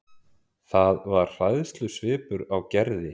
Það var hræðslusvipur á Gerði.